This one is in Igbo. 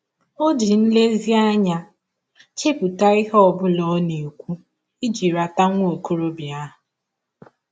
Ọ ji nlezianya chepụta ihe ọ bụla ọ na - ekwụ iji rata nwa ọkọrọbịa ahụ.